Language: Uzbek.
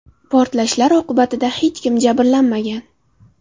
Portlashlar oqibatida hech kim jabrlanmagan.